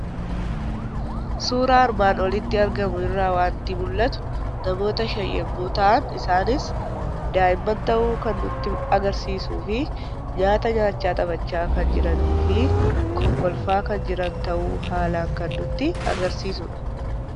Suuraa armaan olitti argamu irraa waanti mul'atu; namoota shan yommuu ta'an, isaanis daa'immaan ta'uu kan nutti agarsiisufi nyaata nyaachaa taphachaa kan jiranifi kokkolfaa kan jiran ta'uu haalan kan nutti agarsiisudha.